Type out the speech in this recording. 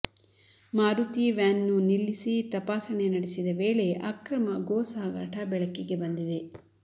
ಮಾರುತಿ ವ್ಯಾನ್ನ್ನು ನಿಲ್ಲಿಸಿ ತಪಾಸಣೆ ನಡೆಸಿದ ವೇಳೆ ಅಕ್ರಮ ಗೋ ಸಾಗಾಟ ಬೆಳಕಿಗೆ ಬಂದಿದೆ